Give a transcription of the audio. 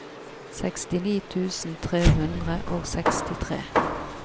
sekstini tusen tre hundre og sekstitre